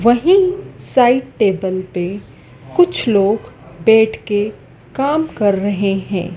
वहीं side table पे कुछ लोग बैठ के काम कर रहे हैं।